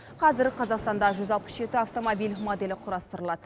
қазір қазақстанда жүз алпыс жеті автомобиль моделі құрастырылады